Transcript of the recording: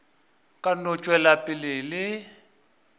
ka no tšwela pele le